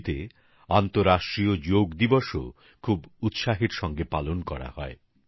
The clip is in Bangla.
চিলিতে আন্তর্জাতিক যোগ দিবসও খুব উৎসাহের সঙ্গে পালন করা হয়